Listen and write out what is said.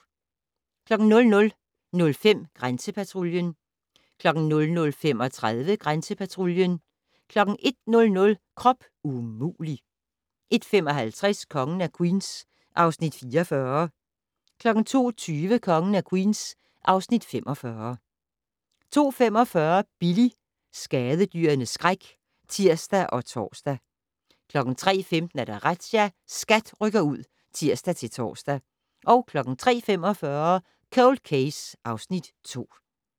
00:05: Grænsepatruljen 00:35: Grænsepatruljen 01:00: Krop umulig! 01:55: Kongen af Queens (Afs. 44) 02:20: Kongen af Queens (Afs. 45) 02:45: Billy - skadedyrenes skræk (tir og tor) 03:15: Razzia - SKAT rykker ud (tir-tor) 03:45: Cold Case (Afs. 2)